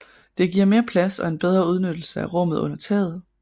Det giver mere plads og en bedre udnyttelse af rummet under taget